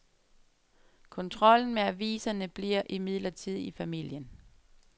Kontrollen med aviserne bliver imidlertid i familien.